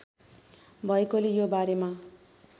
भएकोले यो बारेमा